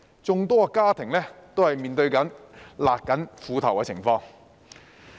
眾多家庭都在面對"勒緊褲頭"的情況。